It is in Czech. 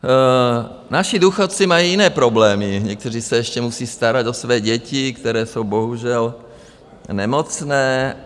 Naši důchodci mají jiné problémy, někteří se ještě musí starat o své děti, které jsou bohužel nemocné.